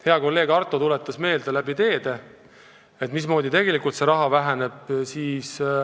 Hea kolleeg Arto tuletas meelde, mismoodi tegelikult teederaha väheneb.